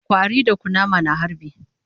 Ƙwari da kunama na harbi